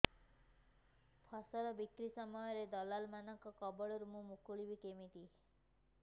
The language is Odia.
ଫସଲ ବିକ୍ରୀ ସମୟରେ ଦଲାଲ୍ ମାନଙ୍କ କବଳରୁ ମୁଁ ମୁକୁଳିଵି କେମିତି